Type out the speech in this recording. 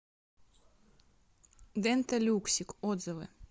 дента люксик отзывы